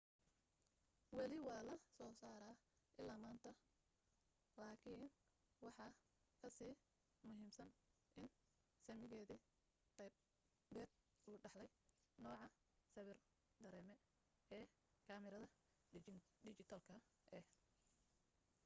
wali waa la soo saaraa ilaa maanta laakin waxa kasii muhiimsan in saamigeedii qaabeed uu dhaxlay nooca sawir dareeme ee kamarada dhijitaalka ah